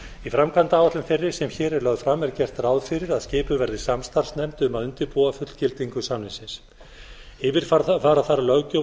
í framkvæmdaáætlun þeirri sem hér er lögð fram er gert ráð fyrir að skipuð verði samstarfsnefnd um að undirbúa fullgildingu samningsins yfirfara þarf löggjöf